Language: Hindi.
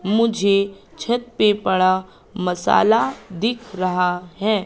मुझे छत पे पड़ा मसाला दिख रहा है।